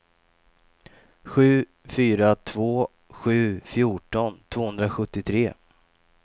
sju fyra två sju fjorton tvåhundrasjuttiotre